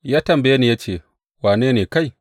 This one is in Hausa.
Ya tambaye ni ya ce, Wane ne kai?’